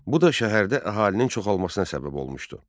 Bu da şəhərdə əhalinin çoxalmasına səbəb olmuşdu.